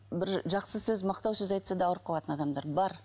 бір жақсы сөз мақтау сөз айтса да ауырып қалатын адамдар бар